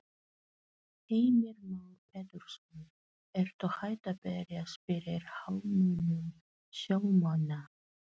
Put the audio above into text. Heimir Már Pétursson: Ertu hætt að berjast fyrir hagsmunum sjómanna?